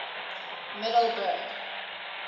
middelburg